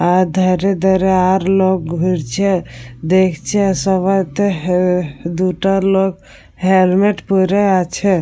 আর ধারে ধারে আর লোক ঘুরছে দেখছে আর সবাইতে। হে দুটা লোক হেলমেট পড়ে আছে।